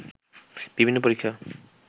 বিভিন্ন পরীক্ষা